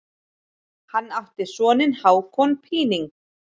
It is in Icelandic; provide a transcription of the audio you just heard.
Hann átti soninn Hákon Píning.